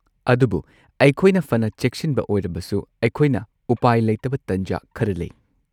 ꯑꯗꯨꯕꯨ ꯑꯩꯈꯣꯏꯅ ꯐꯅ ꯆꯦꯛꯁꯤꯟꯕ ꯑꯣꯏꯔꯕꯁꯨ, ꯑꯩꯈꯣꯏꯅ ꯎꯄꯥꯏ ꯂꯩꯇꯕ ꯇꯥꯟꯖꯥ ꯈꯔ ꯂꯩ꯫